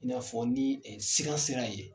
I n'a fɔ ni ee sira sera yen